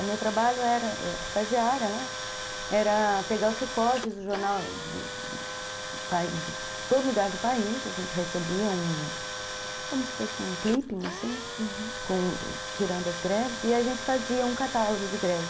O meu trabalho era, eu era estagiária lá, era pegar os recortes do jornal de todo lugar do país, a gente recebia um, como se fosse um clipping, assim, uhum, tirando as greves, e a gente fazia um catálogo de greves.